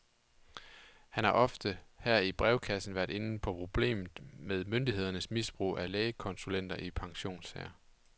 Han har ofte her i brevkassen været inde på problemet med myndighedernes misbrug af lægekonsulenter i pensionssager.